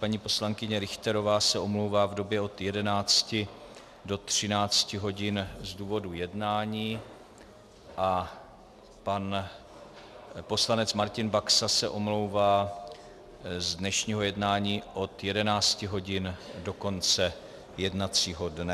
Paní poslankyně Richterová se omlouvá v době od 11 do 13 hodin z důvodu jednání a pan poslanec Martin Baxa se omlouvá z dnešního jednání od 11 hodin do konce jednacího dne.